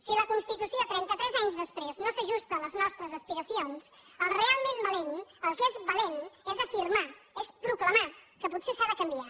si la constitució trenta tres anys després no s’ajusta a les nostres aspiracions el realment valent el que és valent és afirmar és proclamar que potser s’ha de canviar